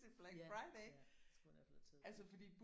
Ja ja jeg tror jeg ville have taget bussen